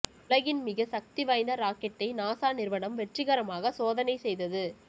உலகின் மிக சக்தி வாய்ந்த ராக்கெட்டை நாசா நிறுவனம் வெற்றிகரமாக சோதனை செய்தது